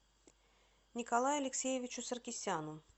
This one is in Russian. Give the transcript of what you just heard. николаю алексеевичу саркисяну